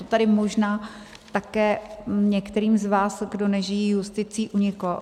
To tady možná také některým z vás, kdo nežijí justicí, uniklo.